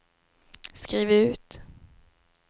skriv ut